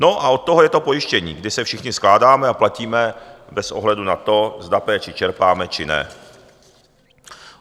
No a od toho je to pojištění, kdy se všichni skládáme a platíme bez ohledu na to, zda péči čerpáme, či ne.